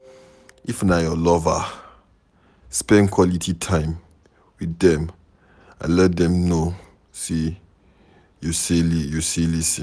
If na your lover, spend quality time with dem and let them know sey you sey lis ten